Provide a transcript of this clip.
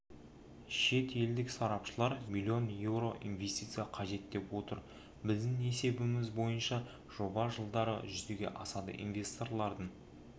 шетелдік сарапшылар миллион еуро инвестиция қажет деп отыр біздің есебіміз бойынша жоба жылдары жүзеге асады инвесторлардың